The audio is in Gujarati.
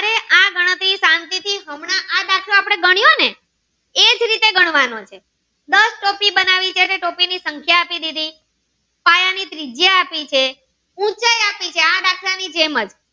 ગણવાનો છે દાસ ટોપી બનાવી છે ટોપી ની સંખ્યા આપી દીધી પાયા ની ત્રિજયા આપી છે ઉંચાઈ આપી છે આ દાખલ ની જેમ જ.